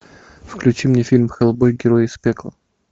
включи мне фильм хеллбой герой из пекла